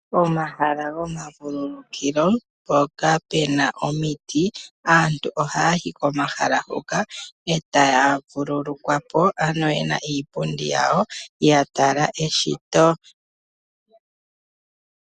Omahala gomavulukilo mpoka puna omiti. Aantu ohaya yi komahala huka eta ya vululukwa po, ano yena iipundi yawo etaya vululukwa po yatala eshito.